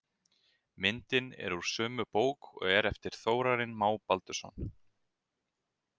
Myndin er úr sömu bók og er eftir Þórarin Má Baldursson.